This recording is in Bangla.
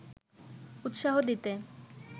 উৎসাহ দিতে